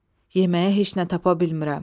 Yeməyə heç nə tapa bilmirəm.